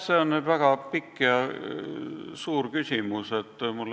See oli nüüd väga ulatuslik küsimus.